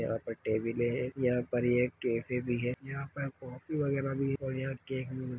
यहां पर टेबल भी हैं यहां पर एक कैफे भी है यहां पे कॉफी वगैरा भी और यहां केक --